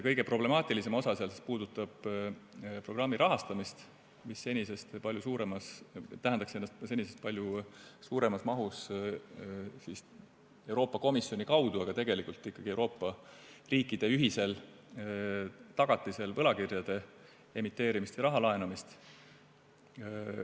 Kõige problemaatilisem osa puudutab programmi rahastamist, mis tähendaks senisest palju suuremas mahus Euroopa Komisjoni kaudu, aga tegelikult ikkagi Euroopa riikide ühisel tagatisel võlakirjade emiteerimist ja raha laenamist.